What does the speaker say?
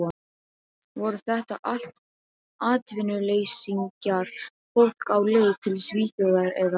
Voru þetta allt atvinnuleysingjar, fólk á leið til Svíþjóðar eða